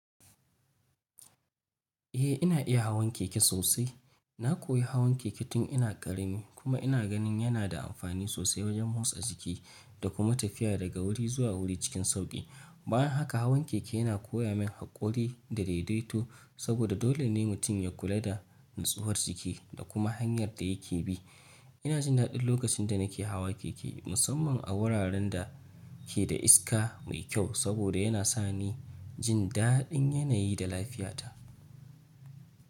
Eh ina iya hawan keke sosai. Na koyi hawan keke tun ina ƙarami kuma ina ganin yana da amfani sosai wajen motsa jiki da kuma tafiya daga wuri zuwa wuri cikin sauƙi. Bayan haka hawan keke yana koya min haƙuri da daidaito saboda dole ne mutum ya kula da nutsuwar jiki da kuma hanyar da yake bi. Ina jin daɗi lokacin da nake hawa keke, musamman a wuraren da ke da iska mai kyau saboda yana sa ni jin daɗin yanayi da lafiyata.